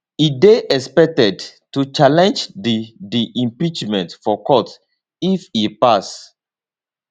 e dey expected to challenge di di impeachment for court if e pass